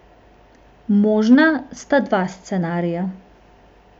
Možna sta dva scenarija.